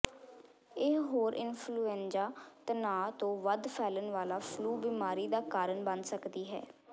ਇਹ ਹੋਰ ਇਨਫ਼ਲੂਐਨਜ਼ਾ ਤਣਾਅ ਤੋਂ ਵੱਧ ਫੈਲਣ ਵਾਲਾ ਫਲੂ ਬਿਮਾਰੀ ਦਾ ਕਾਰਨ ਬਣ ਸਕਦੀ ਹੈ